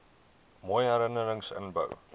mooi herinnerings inhou